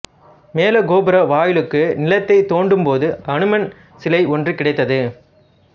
மேலக்கோபுர வாயிலுக்கு நிலத்தைத் தோண்டும்போது அனுமன் சிலை ஒன்று கிடைத்தது